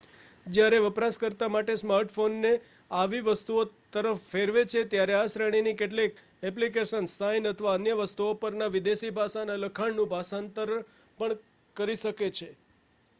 જ્યારે વપરાશકર્તા smart phone ને આવી વસ્તુઓ તરફ ફેરવે છે ત્યારે આ શ્રેણી ની કેટલીક એપ્લીકેશન્સ સાઇન અથવા અન્ય વસ્તુઓ પર ના વિદેશી ભાષાના લખાણ નું ભાષાંતર પણ કરી શકે છે